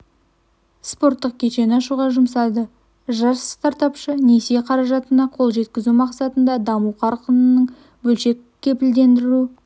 спорттық кешен ашуға жұмсады жас стартапшы несие қаражатына қол жеткізу мақсатында даму қорының бөлшек кепілдендіру